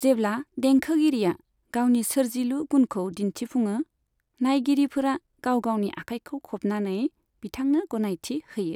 जेब्ला देंखोगिरिआ गावनि सोरजिलु गुनखौ दिन्थिफुङो, नाइगिरिफोरा गाव गावनि आखाइखौ खबनानै बिथांनो गनायथि होयो।